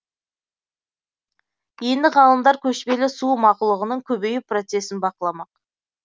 енді ғалымдар көшпелі су мақұлығының көбею процесін бақыламақ